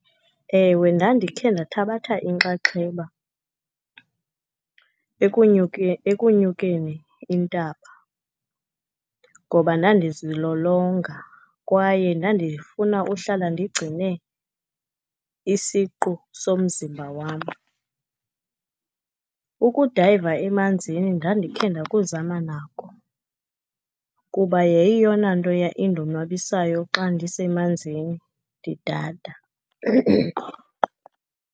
Ewe, ndandikhe ndathabatha inkxaxheba ekunyukeni intaba ngoba ndandizilolonga, kwaye ndandifuna uhlala ndigcine isiqu somzimba wam. Ukudayiva emanzini ndandikhe ndakuzama nako, kuba yayiyeyona nto yayindonwabisayo xa ndisemanzini ndidada.